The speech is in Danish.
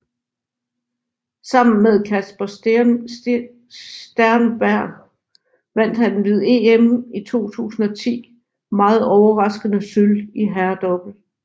Sammen med Kasper Sternberg vandt han ved EM i 2010 meget overraskende sølv i herredouble